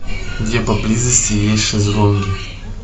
где поблизости есть шезлонги